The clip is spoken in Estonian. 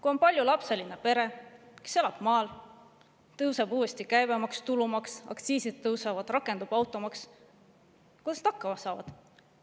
Kui on paljulapseline pere, kes elab maal, ja tõuseb uuesti käibemaks, tulumaks, aktsiisid tõusevad, rakendub automaks, kuidas nad hakkama saavad?